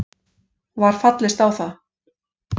Var fallist á það